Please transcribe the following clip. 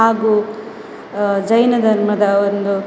ಹಾಗು ಅಹ್ ಜೈನ ಧರ್ಮ ದ ಒಂದು --